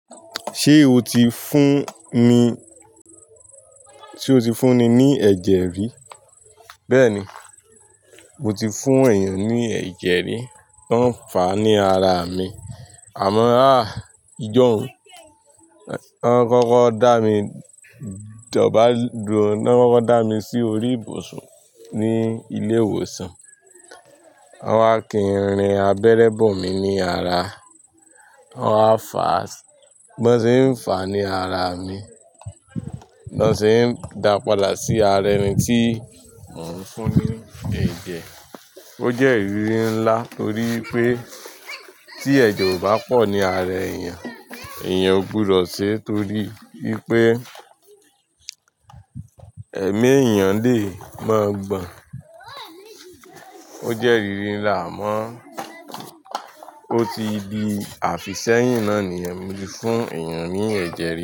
Ṣé o ti fún ni, tí o ti fún ni ní ẹ̀jẹ̀ rí? Bẹ́ẹ̀ni, mo ti fún èèyàn ní ẹ̀jẹ̀ rí. Wọ́n ń fà á ní ara mi. Àmọ́ à ìjọ̀hún, wọ́n kọ́kọ́ dá mi dọ̀bálẹ̀, wọ́n kọ́kọ́ dá mi sí orí ìbùsùn ní ilé ìwòsàn. Wọ́n wá kí ń rìn abẹ́rẹ́ bọ̀ mí ní ara. Wọ́n wá fà, bo se ń fà á ní ara mi, bó se ń dàá padà sí ara ẹni tí mò ń fún ní ẹ̀jẹ̀. Ó jẹ́ ìrírí ńlá torí pé tí ẹ̀jẹ̀ ò bá pọ̀ ní ara èèyàn, èèyàn ó gbúdọ̀ sẹ torí ipé ẹ̀mí èèyàn lè máa gbọ́n. Ó jẹ́ ìrírí ńlá mọ́. Ó ti di àfìsẹ́yìn náà ni yẹ́n mo tí fún èèyàn ní ẹ̀jẹ̀